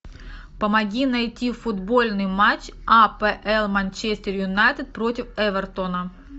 помоги найти футбольный матч апл манчестер юнайтед против эвертона